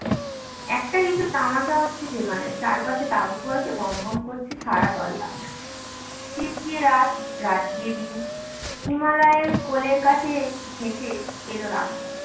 একটা কিছু তামাশা হচ্ছে সেখানে চারপাশে তাবু পড়েছে গম গম করছে সারা তল্লাট দিন গিয়ে রাত রাত দিয়ে দিন হিমালয়ের কোলের কাছে ঘেঁষে এলো রাস্তা